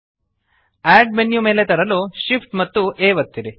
add menu ಮೇಲೆ ತರಲು Shift amp A ಒತ್ತಿರಿ